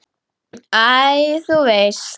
Æ, þú veist.